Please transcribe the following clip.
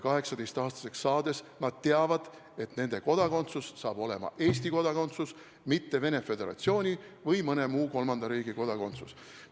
18-aastaseks saades nad teavad, et nende kodakondsus saab olema Eesti kodakondsus, mitte Venemaa Föderatsiooni või mõne muu kolmanda riigi kodakondsus.